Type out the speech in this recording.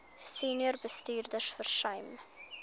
senior bestuurders versuim